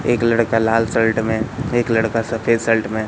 एक लड़का लाल शर्ट में एक लड़का सफेद शर्ट में--